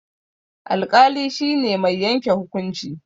Alƙali shine mai yanke hukunci